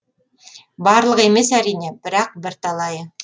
барлығы емес әрине бірақ бірталайы